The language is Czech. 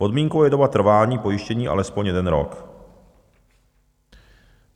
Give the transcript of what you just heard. Podmínkou je doba trvání pojištění alespoň jeden rok.